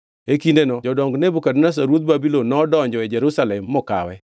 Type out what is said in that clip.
E kindeno jodong Nebukadneza ruoth Babulon nodonjo e Jerusalem mokawe,